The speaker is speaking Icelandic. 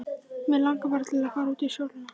Mig langar bara til að fara út í sólina.